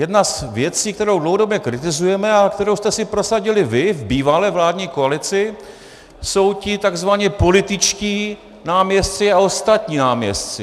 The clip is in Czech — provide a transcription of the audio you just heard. Jedna z věcí, kterou dlouhodobě kritizujeme a kterou jste si prosadili vy v bývalé vládní koalici, jsou ti tzv. političtí náměstci a ostatní náměstci.